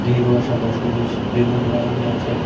গেরুয়া সাদা সবুজ বেলুন লাগানো আছে।